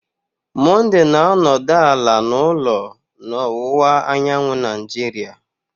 Monday na-anọdụ ala n'ụlọ na ọwụwa anyanwụ Nigeria